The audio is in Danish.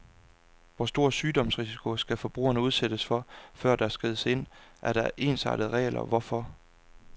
Hvor stor sygdomsrisiko skal forbrugerne udsættes for, før der skrides ind, og er der ensartede regler herfor?